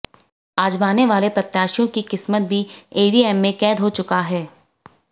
आजमाने वाले प्रत्याशियों की किस्मत भी ईवीएम में कैद हो चुका है